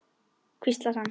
hvíslar hann.